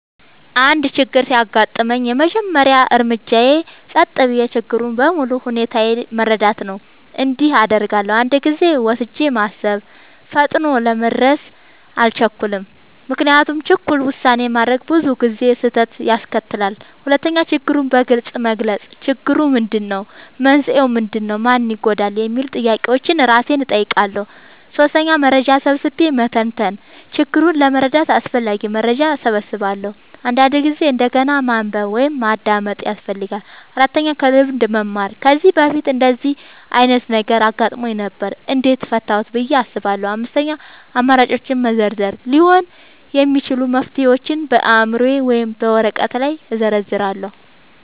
አንድ ችግር ሲያጋጥመኝ፣ የመጀመሪያው እርምጃዬ ጸጥ ብዬ ችግሩን በሙሉ ሁኔታው መረዳት ነው። እንዲህ አደርጋለሁ፦ 1. ጊዜ ወስጄ ማሰብ – ፈጥኖ ለመድረስ አልቸኩልም፤ ምክንያቱም ቸኩሎ ውሳኔ ማድረግ ብዙ ጊዜ ስህተት ያስከትላል። 2. ችግሩን በግልጽ መግለጽ – "ችግሩ ምንድነው? መንስኤው ምንድነው? ማን ይጎዳል?" የሚሉ ጥያቄዎችን እራሴን እጠይቃለሁ። 3. መረጃ ሰብስቤ መተንተን – ችግሩን ለመረዳት አስፈላጊ መረጃ እሰበስባለሁ፤ አንዳንድ ጊዜ እንደገና ማንበብ ወይም ማዳመጥ ያስፈልጋል። 4. ከልምድ መማር – "ከዚህ በፊት እንደዚህ ዓይነት ነገር አጋጥሞኝ ነበር? እንዴት ፈታሁት?" ብዬ አስባለሁ። 5. አማራጮችን መዘርዘር – ሊሆኑ የሚችሉ መፍትሄዎችን በአእምሮዬ ወይም በወረቀት ላይ እዘርዝራለሁ።